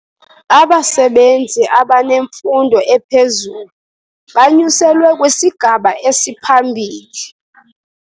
Abasebenzi abanemfundo ephezulu banyuselwe kwisigaba esiphambili.